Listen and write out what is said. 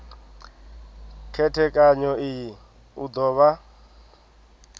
khethekanyo iyi u do vha